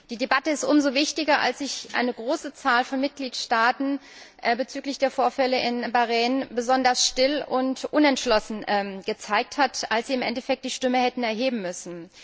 Die Debatte ist umso wichtiger, als sich eine große Zahl von Mitgliedstaaten bezüglich der Vorfälle in Bahrain besonders still und unentschlossen gezeigt hat, als sie im Endeffekt die Stimme hätten erheben müssen.